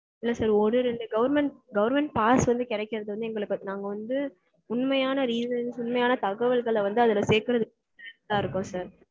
இல்ல sir ஒரு ரெண்டு government government pass வந்து கெடைக்கறது வந்து எங்களுக்கு நாங்க வந்து உண்மையான reason உண்மையான தகவல்கள வந்து அதுல சேர்க்கறதுக்கு இருக்கும் sir